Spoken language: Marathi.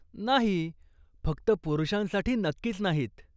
नाही, फक्त पुरुषांसाठी नक्कीच नाहीत.